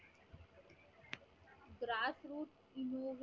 grass root